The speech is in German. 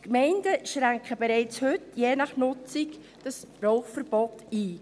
Die Gemeinden schränken das Rauchverbot je nach Nutzung bereits heute ein.